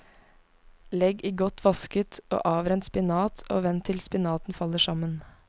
Legg i godt vasket og avrent spinat og vend til spinaten faller sammen.